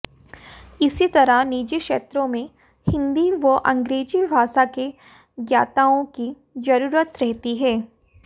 इसी तरह निजी क्षेत्रों में हिंदी व अंग्रेजी भाषा के ज्ञाताओं की जरूरत रहती है